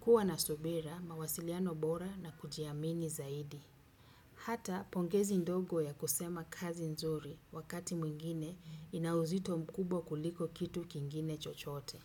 Kuwa na subira mawasiliano bora na kujiamini zaidi. Hata pongezi ndogo ya kusema kazi nzuri wakati mwingine inauzito mkubwa kuliko kitu kingine chochote.